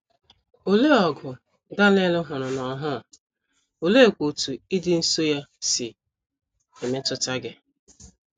Olee ọgụ Daniel hụrụ n’ọhụụ, oleekwa otú ịdị nso ya si emetụta gị?